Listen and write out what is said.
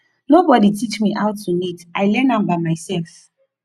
nobody teach me how to knit i learn am by myself